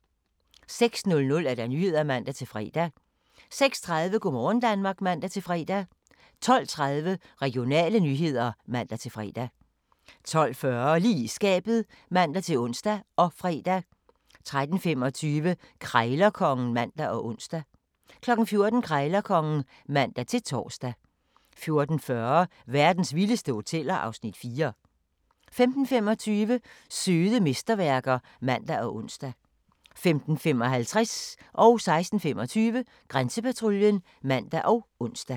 06:00: Nyhederne (man-fre) 06:30: Go' morgen Danmark (man-fre) 12:30: Regionale nyheder (man-fre) 12:40: Lige i skabet (man-ons og fre) 13:25: Krejlerkongen (man og ons) 14:00: Krejlerkongen (man-tor) 14:40: Verdens vildeste hoteller (Afs. 4) 15:25: Søde mesterværker (man og ons) 15:55: Grænsepatruljen (man og ons) 16:25: Grænsepatruljen (man og ons)